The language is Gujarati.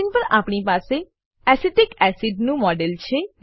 સ્ક્રીન પર આપણી પાસે એસિટિક એસિડ નું મોડેલ છે